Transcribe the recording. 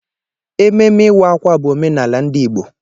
Ememme Ịwa-ákwà bụ omenala ndị Igbo.